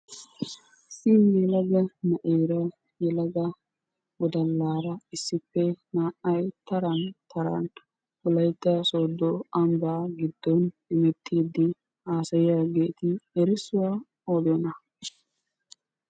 Issi yelaga na'eera yelaga wodallaara issippe naa"ay taran taran wolaytta sodo Amba giddon hemettiiddi haasayiyageeti erissuwa odiyonaa?